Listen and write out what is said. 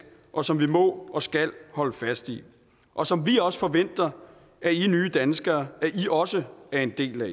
og som vi må og skal holde fast i og som vi også forventer i nye danskere også er en del af